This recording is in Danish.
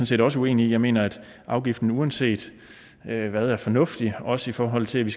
set også uenige i jeg mener at afgiften uanset hvad er fornuftig også i forhold til at vi